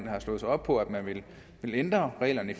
har slået sig op på at ville ændre reglerne